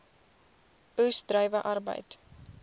oes druiwe arbeid